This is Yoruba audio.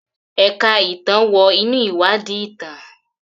Ẹ̀ka ìtàn wọ inú ìwádìí ìtàn.